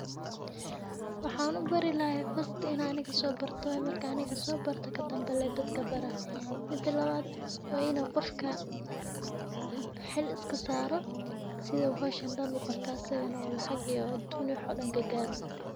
Waxan ubari laha fasti in an aniga sobarto waye marka ayan bari laha mida lawad wa ina qofka xiil iskasaro sii u howshan uqabto oo asagan lacag iyo aduun ugaro.